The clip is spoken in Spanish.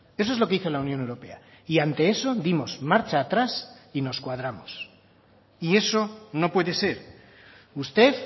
eso es lo que hizo la unión europea y ante eso dimos marcha atrás y nos cuadramos y eso no puede ser usted